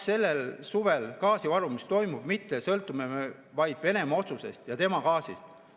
Sellel suvel me vaid Venemaa otsusest ja tema gaasist.